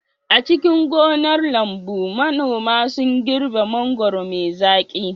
A cikin gonar lambu, manoma sun girbe mangwaro mai zaƙi.